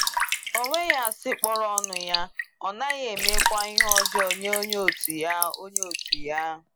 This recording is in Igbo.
Ọ nweghị asị kpọrọ ọnụ ya, Ọ naghị emekwa ihe ọjọọ nye onye òtù ya. onye òtù ya.